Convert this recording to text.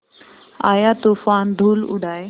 आया तूफ़ान धूल उड़ाए